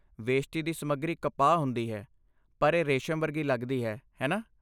ਵੇਸ਼ਤੀ ਦੀ ਸਮੱਗਰੀ ਕਪਾਹ ਹੁੰਦੀ ਹੈ, ਪਰ ਇਹ ਰੇਸ਼ਮ ਵਰਗੀ ਲੱਗਦੀ ਹੈ, ਹੈ ਨਾ?